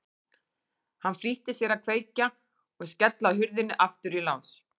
Hann flýtti sér að kveikja og skella hurðinni aftur í lás.